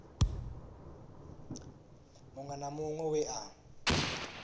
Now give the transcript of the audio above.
muṅwe na muṅwe we a